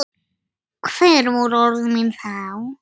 Hver voru orð þín þá?